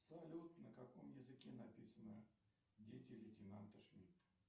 салют на каком языке написано дети лейтенанта шмидта